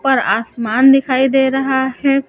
पर आसमान दिखाई दे रहा है।